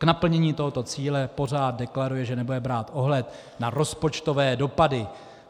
K naplnění tohoto cíle pořád deklaruje, že nebude brát ohled na rozpočtové dopady.